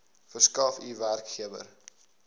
verskaf u werkgewer